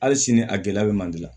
Hali sini a gɛlɛya bɛ manje la